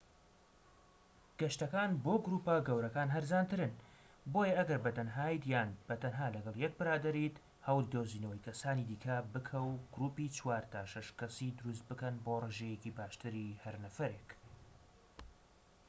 گەشتەکان بۆ گروپە گەورەکان هەرزانترن بۆیە ئەگەر بە تەنهایت یان بە تەنها لەگەڵ یەک برادەریت هەوڵی دۆزینەوەی کەسانی دیکە بکە و گروپی چوار تا شەش کەسی دروست بکەن بۆ ڕێژەیەکی باشتری هەر نەفەرێک